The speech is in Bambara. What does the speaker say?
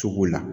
Cogo la